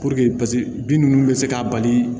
paseke bin nunnu bɛ se ka bali